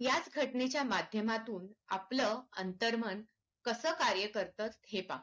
याच घटनेच्या माध्यमातून आपलं अंतरमन कास कार्य करत हे पहा